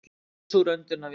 Laus úr öndunarvél